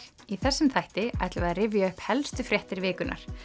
í þessum þætti ætlum við að rifja upp helstu fréttir vikunnar